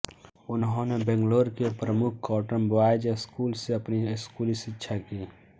उन्होंने बैंगलोर के प्रमुख कॉटन बॉयज स्कूल से अपनी स्कूली शिक्षा की